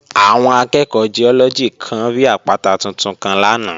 Àwọn akẹ́ẹ̀kọ́ Giọ́lọ́gì kan rí àpáta tuntun kan lánàá